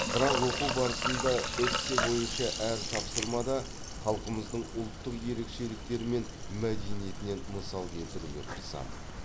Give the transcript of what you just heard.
бірақ оқу барысында эссе бойынша әр тапсырмада халқымыздың ұлттық ерекшеліктері мен мәдениетінен мысал келтіруге тырысамын